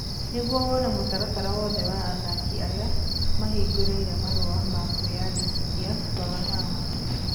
Nĩguo wone mũtaratara wothe wa athaki arĩa mahingũrire marũa ma kwĩyandĩkithia, rora haha: http://www.bbc.co.uk/sport/football/transfers